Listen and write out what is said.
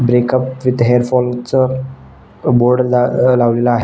Breakup with hair fall च board ल लावलेले आहे.